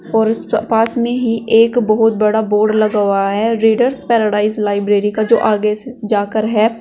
और पास में ही एक बहोत बड़ा बोर्ड लगा हुआ है रीडर्स पैराडाइज लाइब्रेरी का जो आगे से जाकर है।